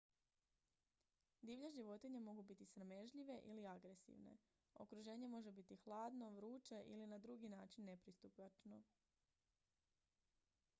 divlje životinje mogu biti sramežljive ili agresivne okruženje može biti hladno vruće ili na drugi način nepristupačno